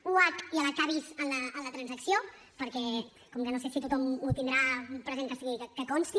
h i a la bis en la transacció perquè com que no sé si tothom ho tindrà present que sigui que consti